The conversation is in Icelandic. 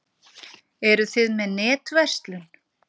Eruð þið með netverslun?